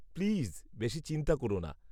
Please বেশী চিন্তা কর না।